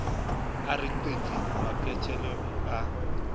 a re qiti maphethelong a